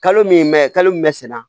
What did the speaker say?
Kalo min mɛ kalo min bɛ sɛnɛ